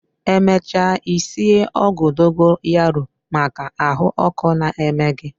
Emecha I sie ogwu dogoyaro maka ahuoku na-eme gi